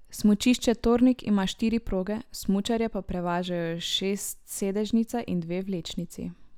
Smučišče Tornik ima štiri proge, smučarje pa prevažajo šestsedežnica in dve vlečnici.